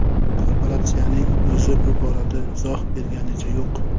Korporatsiyaning o‘zi bu borada izoh berganicha yo‘q.